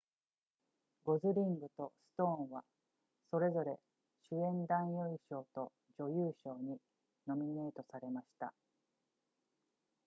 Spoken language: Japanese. ゴズリングとストーンはそれぞれ主演男優賞と女優賞にノミネートされました